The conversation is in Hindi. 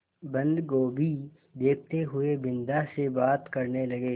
बन्दगोभी देखते हुए बिन्दा से बात करने लगे